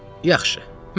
Yaxşı, mən razı.